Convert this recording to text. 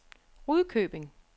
Rudkøbing